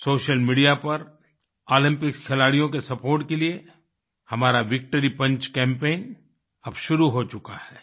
social media पर Olympics खिलाड़ियों के सपोर्ट के लिए हमारा विक्ट्री पंच कैम्पेन अब शुरू हो चुका है